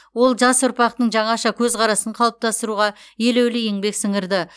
ол жас ұрпақтың жаңаша көзқарасын қалыптастыруға елеулі еңбек сіңірді